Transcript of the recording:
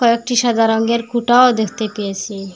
কয়েকটি সাদা রঙের খুঁটাও দেখতে পেয়েসি।